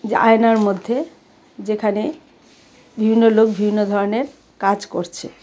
আয়নার মধ্যে যেখানে বিভিন্ন লোক বিভিন্ন ধরনের কাজ করছে।